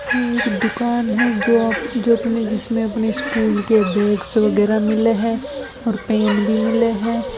या एक दुकान जो अप जिसमे अपने स्कूल के बैग्स वगेराह मिले है और पेन भी मिले है।